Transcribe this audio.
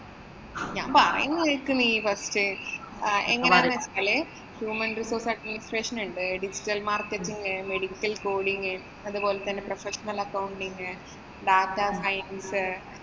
ഞാന്‍ പറയുന്ന കേക്ക് നീ first ആഹ് എങ്ങനെയെന്നു പറഞ്ഞാല് human resource administration ഉണ്ട്. digital marketing, medical coding അതുപോലെ തന്നെ